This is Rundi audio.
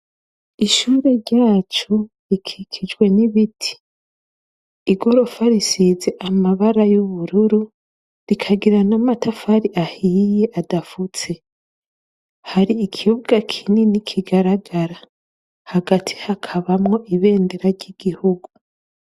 Ishure ryacu rikikijwe n’ibiti, igorofa risize amabara y’ubururu, rikagira n’amatafari ahiye adafutse. Hari Ikibuga kinini kigararagara. Hagati hakabamwo ibendera ry’igihugu.